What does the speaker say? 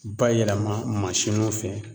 Bayɛlɛma mansinuw fɛ